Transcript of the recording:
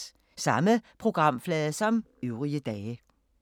Samme programflade som øvrige dage